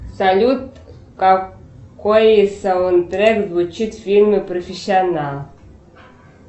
салют какой саундтрек звучит в фильме профессионал